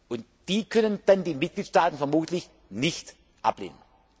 an. Und die können dann die Mitgliedstaaten vermutlich nicht ablehnen.